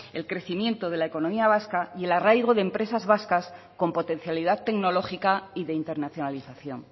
el crecimiento de la economía vasca y el arraigo de empresas vascas con potencialidad tecnológica y de internacionalización